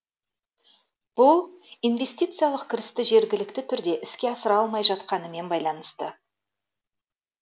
бұл инвестициялық кірісті жергілікті түрде іске асыра алмай жатқанымен байланысты